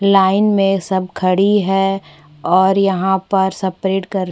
line में सब खड़ी है और यहाँ पर सब प्रेड कर --